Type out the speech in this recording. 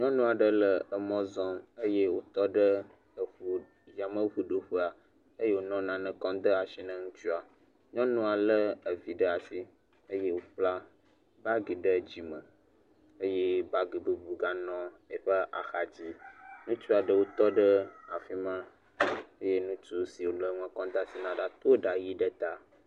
Nyɔnu aɖe le mɔ zɔm eye wotɔ ɖe e yameŋu ɖoƒea eye wonɔ nane kɔ dɔm asi ne ŋutsua. Nyɔnua lé vi ɖe asi eye wokpa bagi ɖe dzime eye bagi bubu ganɔ eƒe axadzi. Ŋutsu aɖewo tɔ ɖe afi ma eye ŋutsu si wole nua kɔm de asi na to ɖa yɛ̃ʋi ɖe ta.